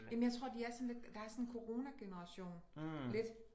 Jamen jeg tror de er sådan lidt der er sådan en coronageneration lidt